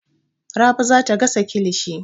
Rabi za ta gasa kilishi.